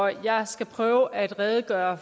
jeg skal prøve at redegøre